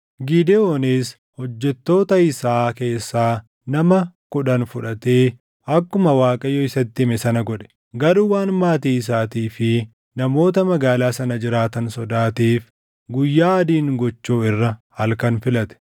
Gidewoonis hojjettoota isaa keessaa nama kudhan fudhatee akkuma Waaqayyo isatti hime sana godhe. Garuu waan maatii isaatii fi namoota magaalaa sana jiraatan sodaateef guyyaa adiin gochuu irra halkan filate.